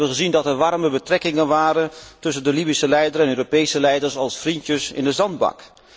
Wij hebben gezien dat er warme betrekkingen waren tussen de Libische leider en Europese leiders als vriendjes in de zandbak.